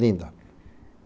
Linda.